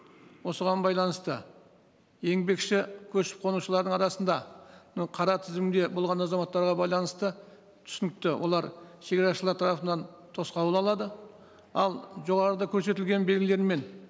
осыған байланысты еңбекші көшіп қонушылардың арасында мынау қара тізімде болған азаматтарға байланысты түсінікті олар шегарашылар тарапынан тосқауыл алады ал жоғарыда көрсетілген белгілермен